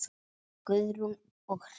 Guðrún og Hreinn.